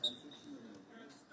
Hamısı Azərbaycanlı oyunçu.